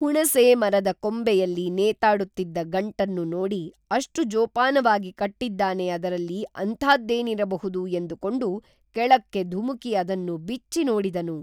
ಹುಣಸೇ ಮರದ ಕೊಂಬೆಯಲ್ಲಿ ನೇತಾಡುತ್ತಿದ್ದ ಗಂಟನ್ನು ನೋಡಿ ಅಷ್ಟು ಜೋಪಾನವಾಗಿ ಕಟ್ಟಿದ್ದಾನೆ ಅದರಲ್ಲಿ ಅಂಥಾದ್ದೇನಿರಬಹುದು ಎಂದುಕೊಂಡು ಕೆಳಕ್ಕೆ ಧುಮುಕಿ ಅದನ್ನು ಬಿಚ್ಚಿ ನೋಡಿದನು